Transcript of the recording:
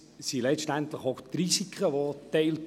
Letztendlich werden jedoch auch die Risiken geteilt.